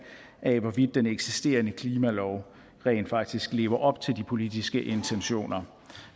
af hvorvidt den eksisterende klimalov rent faktisk lever op til de politiske intentioner